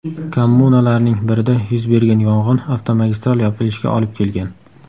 Kommunalarning birida yuz bergan yong‘in avtomagistral yopilishiga olib kelgan.